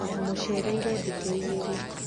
ndamũcereirĩ thikũ ĩgĩrĩ